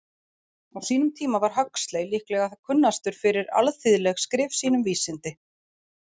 Á sínum tíma var Huxley líklega kunnastur fyrir alþýðleg skrif sín um vísindi.